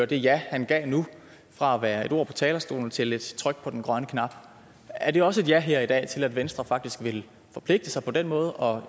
det ja han gav nu fra at være et ord på talerstolen til et tryk på den grønne knap er det også et ja her i dag til at venstre faktisk vil forpligte sig på den måde og